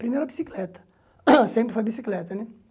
Primeiro a bicicleta, sempre foi a bicicleta, né?